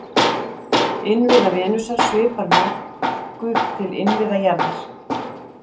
Innviða Venusar svipar nokkuð til innviða jarðar.